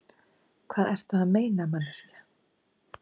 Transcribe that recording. Hvað ertu að meina, manneskja?